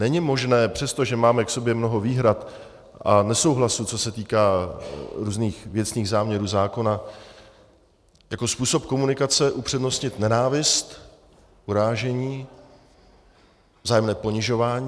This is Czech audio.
Není možné, přestože máme k sobě mnoho výhrad a nesouhlasů, co se týká různých věcných záměrů zákona, jako způsob komunikace upřednostnit nenávist, urážení, vzájemné ponižování.